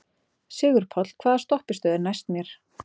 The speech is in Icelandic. Sigurpáll, hvaða stoppistöð er næst mér?